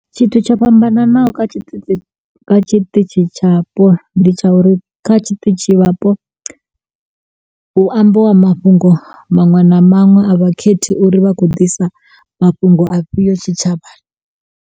Tshithu tsho fhambananaho kha tshiṱitshi, kha tshiṱitshi tshapo, ndi tsha uri kha tshiṱitshi vhapo hu amba wa mafhungo maṅwe na maṅwe a vhakhethi uri vha khou ḓisa mafhungo afhiyo tshitshavhani.